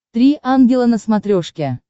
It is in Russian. три ангела на смотрешке